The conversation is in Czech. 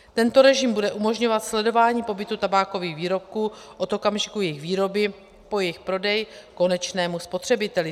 Tento režim bude umožňovat sledování pohybu tabákových výrobků od okamžiku jejich výroby po jejich prodej konečnému spotřebiteli.